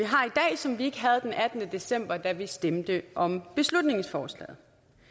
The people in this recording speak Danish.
som vi ikke havde den attende december da vi stemte om beslutningsforslaget